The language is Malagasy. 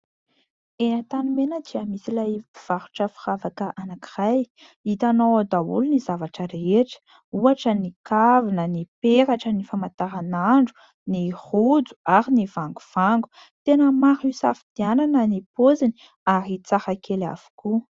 Eo Antanimena dia misy ilay mpivarotra firavaka anankiray. Hitanao ao daholo ny zavatra rehetra, ohatra ny kavina, ny peratra, ny famantaranandro, ny rojo ary ny vangovango ; tena maro isafidianana ny paoziny ary dia hafakely avokoa.